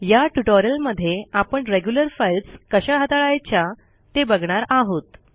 या ट्युटोरियलमध्ये आपण रेग्युलर फाइल्स कशा हाताळायच्या ते बघणार आहोत